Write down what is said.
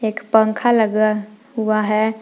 एक पंख लगा हुआ है।